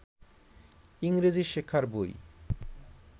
ইংরেজি শেখার বই